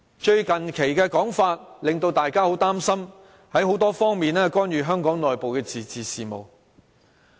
最近的說法令大家很擔心，中央會在多方面干預香港內部的自治事務。